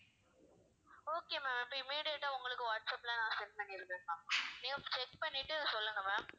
okay ma'am அப்ப immediate ஆ உங்களுக்கு வாட்ஸ்ஆப்ல நான் send பண்ணிடுவேன் ma'am நீங்க check பண்ணிட்டு சொல்லுங்க ma'am